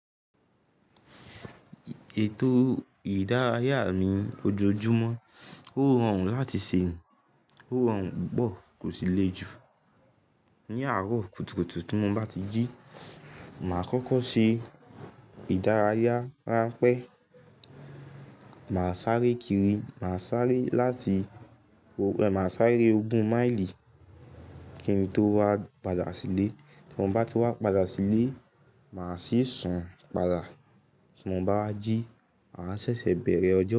Ètò ìdárayá mi ojoojúmọ́ ó rọrùn láti ṣe. Ó rọrùn púpọ̀, kò sì le jù. Ni àárọ̀ kùtùkùtù tí mo bá ti jí, màá kọ́kọ́ ṣe ìdárayá ránpẹ́. Màá sáré kiri, màá sáré láti-- ẹ ma sáré ogún máìlì kí n tó wá padà sílé. Tí mo bá ti wá padà sílé, màá sì sùn padà. Tí mo bá jí, màá ṣẹ̀ṣẹ̀ bẹ̀rẹ̀ ọjọ́